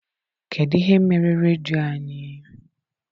Kedụ ihe mere redio anyị?